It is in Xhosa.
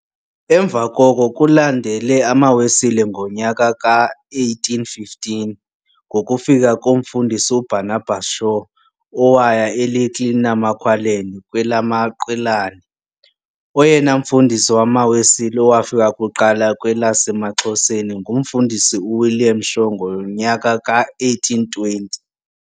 Emva koko kulandele amaWesile ngonyaka ka-1815, ngokufika komfundisi uBarnabas Shaw owaya e-Little Namaqualand, kwelamaQwelane. Oyena mfundisi wamaWesile owafika kuqala kwelasemaXhoseni, ngumFundisi u-William Shaw ngonyaka ka-1820.